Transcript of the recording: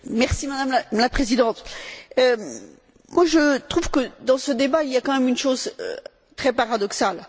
Madame la présidente, je trouve que, dans ce débat, il y a quand même une chose très paradoxale.